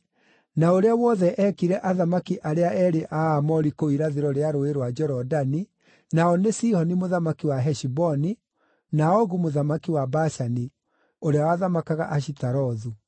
na ũrĩa wothe eekire athamaki arĩa eerĩ a Aamori kũu irathĩro rĩa Rũũĩ rwa Jorodani, nao nĩ Sihoni mũthamaki wa Heshiboni, na Ogu mũthamaki wa Bashani, ũrĩa wathamakaga Ashitarothu.